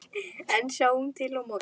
En sjáum til á morgun!